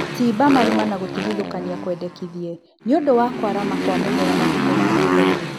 Cimba marima na gũtigithũkania kwendekithie nĩũndũ wa kwarama kwa mũmera matukũ ma thuthainĩ